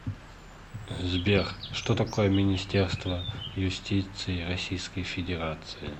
сбер что такое министерство юстиции российской федерации